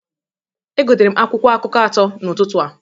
Egotere m akwụkwọ akụkọ atọ n'ụtụtụ a.